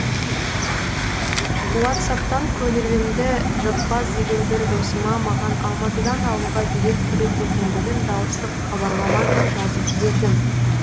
уатсаптан көңілімді жықпас деген бір досыма маған алматыдан ауылға билет керек екендігін дауыстық хабарламамен жазып жібердім